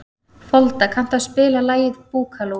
Folda, kanntu að spila lagið „Búkalú“?